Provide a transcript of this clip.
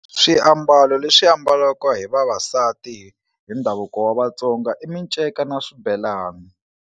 Swiambalo leswi ambalaka hi vavasati hi ndhavuko wa Vatsonga i minceka na swibelani.